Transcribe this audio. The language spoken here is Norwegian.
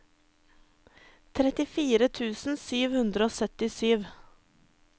trettifire tusen sju hundre og syttisju